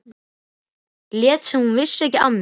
Lét sem hún vissi ekki af mér.